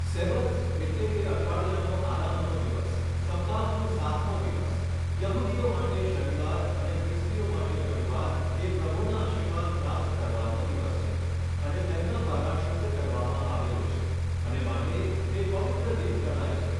Sabbath એટલે કે અઠવાડીયાનો આરામનો દિવસ સપ્તાહનો સાતમો દિવસ યહુદીઓ માટે શનીવાર અને ખ્રિસ્તિઓ માટે રવિવાર એ પ્રભુના આશિર્વાદ પ્રાપ્ત કરવાનો દિવસ છે અને તેમના દ્વારા શુદ્ધ કરવામાં આવેલો છે અને માટે તે પવિત્ર દિન ગણાય છે.